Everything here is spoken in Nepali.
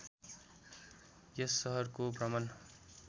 यस सहरको भ्रमण